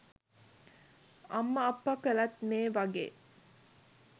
අම්ම අප්ප කළත් මේ වගේ